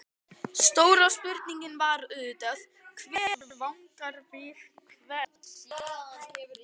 Stóra spurningin var auðvitað: Hver vangar við hvern?